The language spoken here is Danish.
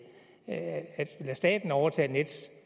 lade staten overtage nets